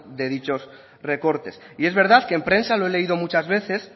de dichos recortes y es verdad que en prensa lo he leído muchas veces